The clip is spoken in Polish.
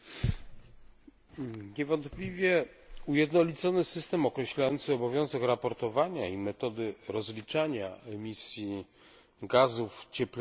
Niewątpliwie ujednolicony system określający obowiązek raportowania i metody rozliczania emisji gazów cieplarnianych jest niezbędny.